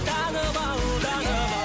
танып ал танып ал